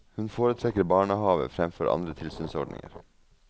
Hun foretrekker barnehave fremfor andre tilsynsordninger.